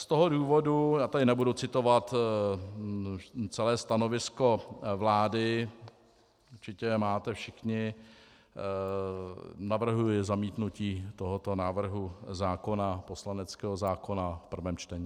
Z toho důvodu, já tady nebudu citovat celé stanovisko vlády, určitě je máte všichni, navrhuji zamítnutí tohoto návrhu zákona, poslaneckého zákona, v prvním čtení.